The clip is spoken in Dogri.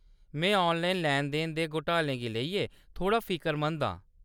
मैं ऑनलाइन लैन-देन ते घोटालें गी लेइयै थोह्‌ड़ा फिकरमंद आं।